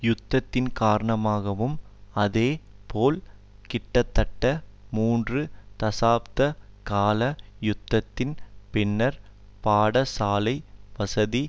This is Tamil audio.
யுத்தத்தின் காரணமாகவும் அதே போல் கிட்டத்தட்ட மூன்று தசாப்த கால யுத்தத்தின் பின்னர் பாடசாலை வசதி